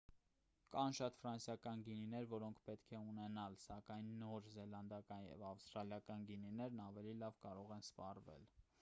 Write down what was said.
կան շատ ֆրանսիական գինիներ որոնք պետք է ունենալ սակայն նոր զելանդական և ավստրալիական գինիներն ավելի լավ կարող են սպառվել